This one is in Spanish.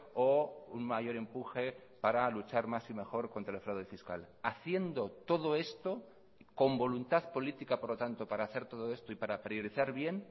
o un mayor empuje para luchar más y mejor contra el fraude fiscal haciendo todo esto con voluntad política por lo tanto para hacer todo esto y para priorizar bien